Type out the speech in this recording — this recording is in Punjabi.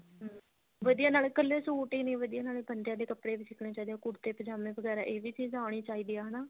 ਹਮ ਵਧੀਆ ਨਾਲੇ ਕੱਲੇ suit ਹੀ ਨਹੀਂ ਵਧੀਆ ਨਾਲੇ ਬੰਦਿਆ ਦੇ ਕੱਪੜੇ ਵੀ ਸਿੱਖਨੇ ਚਾਹੀਦੇ ਨੇ ਕੁੜਤੇ ਪਜਾਮੇ ਵਗੈਰਾ ਇਹ ਵੀ ਚੀਜ਼ ਆਉਣੀ ਚਾਹੀਦੀ ਆ ਹਨਾ